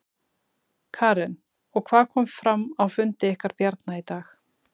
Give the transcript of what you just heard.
Karen: Og hvað kom fram á fundi ykkar Bjarna í dag?